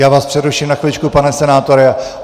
Já vás přeruším na chviličku, pane senátore.